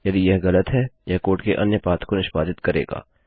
यदि यह गलत है यह कोड के अन्य पाथ को निष्पादित करेगा